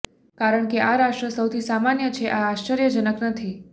કારણ કે આ રાષ્ટ્ર સૌથી સામાન્ય છે આ આશ્ચર્યજનક નથી